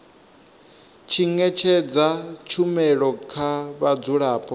tshi ṅetshedza tshumelo kha vhadzulapo